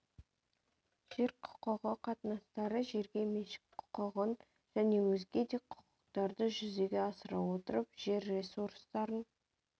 жер құқығы қатынастары жерге меншік құқығын және өзге де құқықтарды жүзеге асыра отырып жер ресурстарын